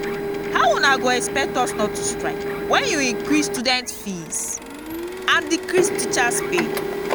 how una go expect us not to strike wen you increase student fees and decrease teachers pay